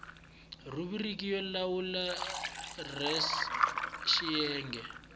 rhubiriki yo lawula res xiyenge